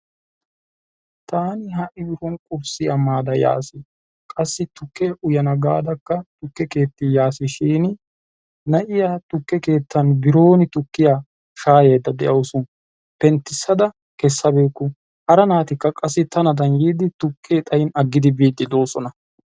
Tani ha"i nu biron qurssiya maada yaas. Qassi tukke uyyana gada tukke keettaa yaasi shin na'iyaa tukke keettan bironi tukkiyaa shayayda deawusu. penttisada kesabawuku. Hara naatikka qassi tanadan tukke xaayin aggidi biidi deosona.